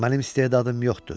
Mənim istedadım yoxdur.